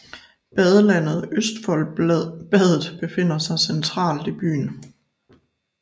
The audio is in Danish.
Badelandet Østfoldbadet befinder sig centralt i byen